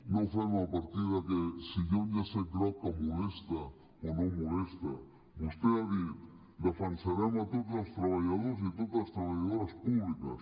no ho fem a partir de si hi ha un llacet groc que molesta o no molesta vostè ha dit defensarem tots els treballadors i totes les treballadores públics